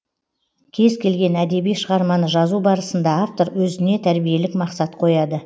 кез келген әдеби шығарманы жазу барысында автор өзіне тәрбиелік мақсат қояды